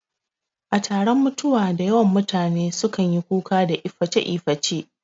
A taron mutuwa dayawan mutane su kanyi kuka da iface iface